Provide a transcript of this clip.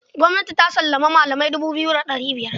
Gwamnati ta sallami malamai dubu biyu da ɗari biyar